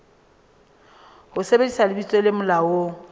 ho sebedisa lebitso le molaong